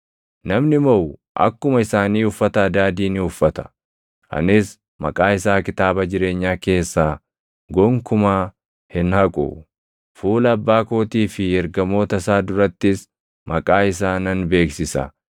Namni moʼu akkuma isaanii uffata adaadii ni uffata. Anis maqaa isaa kitaaba jireenyaa keessaa gonkumaa hin haqu; fuula Abbaa kootii fi ergamoota isaa durattis maqaa isaa nan beeksisa.